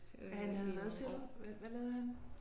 At han havde hvad siger du? Hvad lavede han?